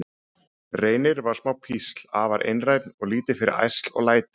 Reynir var smá písl, afar einrænn og lítið fyrir ærsl og læti.